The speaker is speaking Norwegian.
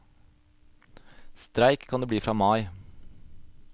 Streik kan det bli fra mai.